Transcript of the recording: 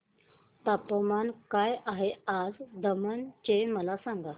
तापमान काय आहे आज दमण चे मला सांगा